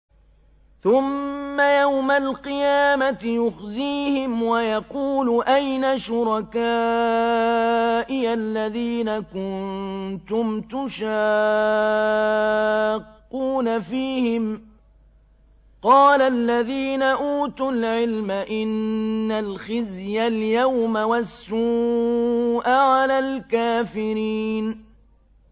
ثُمَّ يَوْمَ الْقِيَامَةِ يُخْزِيهِمْ وَيَقُولُ أَيْنَ شُرَكَائِيَ الَّذِينَ كُنتُمْ تُشَاقُّونَ فِيهِمْ ۚ قَالَ الَّذِينَ أُوتُوا الْعِلْمَ إِنَّ الْخِزْيَ الْيَوْمَ وَالسُّوءَ عَلَى الْكَافِرِينَ